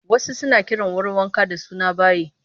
Wasu suna kiran wurin wanka da suna bayi